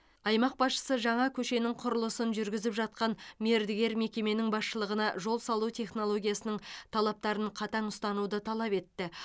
аймақ басшысы жаңа көшенің құрылысын жүргізіп жатқан мердігер мекеменің басшылығына жол салу технологиясының талаптарын қатаң ұстануды талап етті